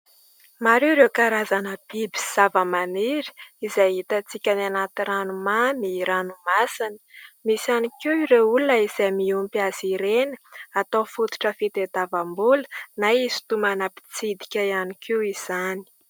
Maro ireo karazana biby sy zavamaniry izay hitantsika any anaty ranomamy, ranomasina. Misy ihany koa ireo olona izay miompy azy ireny atao fototra fitadiavam-bola na hisintonana mpitsidika ihany koa izany.